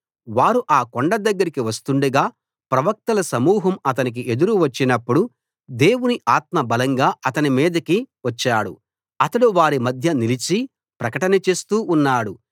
వారు ఆ కొండ దగ్గరకి వస్తుండగా ప్రవక్తల సమూహం అతనికి ఎదురు వచ్చినప్పుడు దేవుని ఆత్మ బలంగా అతని మీదికి వచ్చాడు అతడు వారి మధ్య నిలిచి ప్రకటన చేస్తూ ఉన్నాడు